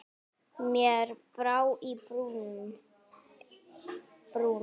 Mér brá í brún.